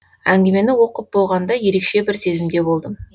әңгімені оқып болғанда ерекше бір сезімде болдым